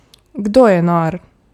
Kdo je nor?